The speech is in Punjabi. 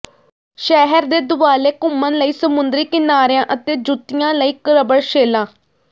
ਸ਼ਹਿਰ ਦੇ ਦੁਆਲੇ ਘੁੰਮਣ ਲਈ ਸਮੁੰਦਰੀ ਕਿਨਾਰਿਆਂ ਅਤੇ ਜੁੱਤੀਆਂ ਲਈ ਰਬੜ ਸ਼ੇਲਾਂ